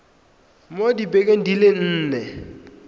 mo dibekeng di le nne